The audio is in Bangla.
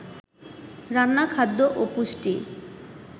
রান্না খাদ্য ও পুষ্টি